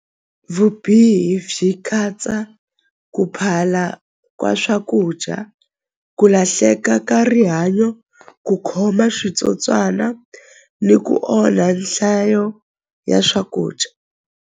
Vubihi byi katsa ku phala ka swakudya ku lahleka ka rihanyo ku khoma switsotswana ni ku onha nhlayo ya swakudya.